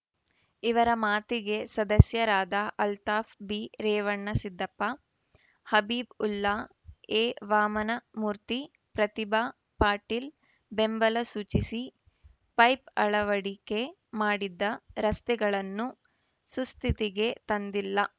ಇವರ ಮಾತಿಗೆ ಸದಸ್ಯರಾದ ಅಲ್ತಾಫ್‌ಬಿರೇವಣಸಿದ್ದಪ್ಪ ಹಬೀಬ್‌ಉಲ್ಲಾ ಎವಾಮನಮೂರ್ತಿ ಪ್ರತಿಭಾ ಪಾಟೀಲ್‌ ಬೆಂಬಲ ಸೂಚಿಸಿ ಪೈಪ್‌ ಅಳವಡಿಕೆ ಮಾಡಿದ್ದ ರಸ್ತೆಗಳನ್ನು ಸುಸ್ಥಿತಿಗೆ ತಂದಿಲ್ಲ